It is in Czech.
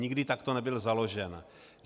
Nikdy takto nebyl založen.